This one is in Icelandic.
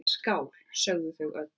Skál, sögðu þau öll.